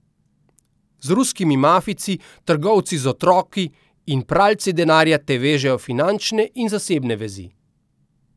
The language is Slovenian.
Z ruskimi mafijci, trgovci z otroki in pralci denarja te vežejo finančne in zasebne vezi.